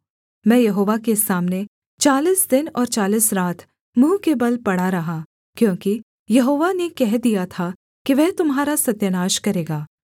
मैं यहोवा के सामने चालीस दिन और चालीस रात मुँह के बल पड़ा रहा क्योंकि यहोवा ने कह दिया था कि वह तुम्हारा सत्यानाश करेगा